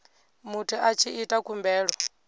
muthu a tshi ita khumbelo